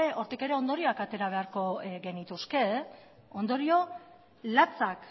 hortik ere ondorioak atera beharko genituzke ondorio latzak